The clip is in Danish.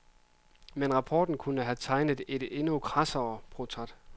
Men rapporten kunne have tegnet et endnu krassere portræt.